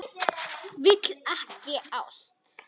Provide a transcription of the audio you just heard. Vill ekki ást.